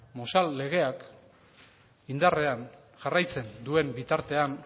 mozal legeak indarrean jarraitzen duen bitartean